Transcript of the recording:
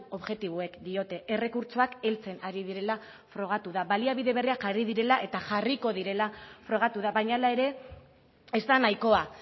objektiboek diote errekurtsoak heltzen ari direla frogatu da baliabide berriak jarri direla eta jarriko direla frogatu da baina hala ere ez da nahikoa